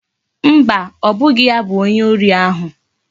Mba, obughi ya bu onye ori ahu